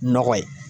Nɔgɔ ye